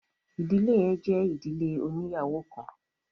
ìdílé yẹn jẹ ìdílé oniyawo kán